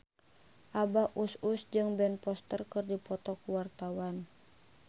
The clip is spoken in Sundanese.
Abah Us Us jeung Ben Foster keur dipoto ku wartawan